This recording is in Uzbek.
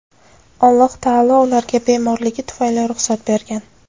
Alloh taolo ularga bemorligi tufayli ruxsat bergan.